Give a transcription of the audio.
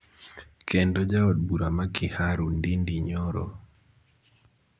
kendo ja od bura ma Kiharu Ndindi Nyoro